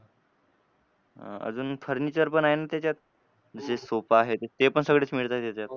अजून furniture पण आहे ना त्याच्यात. म्हणजे sofa आहेत ते पण सगळेच मिळतात त्याच्यात.